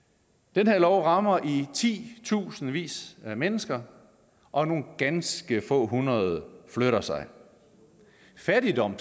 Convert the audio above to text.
den her lov rammer i titusindvis af mennesker og nogle ganske få hundrede flytter sig fattigdom